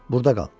Burda qal.